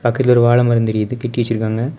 ஒரு வாழ மரம் தெரியுது கெட்டி வெச்சிருக்காங்க.